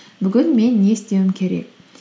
бүгін мен не істеуім керек